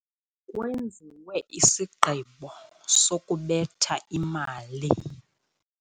Kwenziwe isigqibo sokubetha imali.